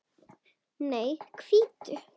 Nei, hvítu.